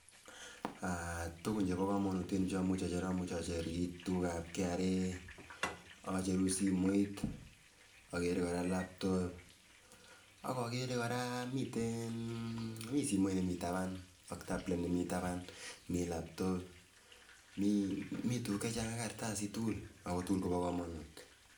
Tuku chebo kamanut eng yu chamuche acher, amuche acher KRA ,acheru simoit, agere koraa laptop akagere koraa miten, mi simoit nemi taban ak tablet nemi taban, mi laptop mi tukuk chechang akot kartasishek, ako tukuk tukul Kobo kamanut.